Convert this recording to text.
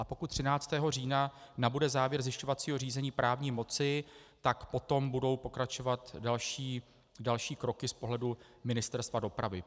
A pokud 13. října nabude závěr zjišťovacího řízení právní moci, tak potom budou pokračovat další kroky z pohledu Ministerstva dopravy.